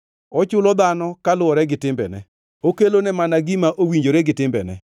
Ochulo dhano kaluwore gi timbene okelone mana gima owinjore gi timbene.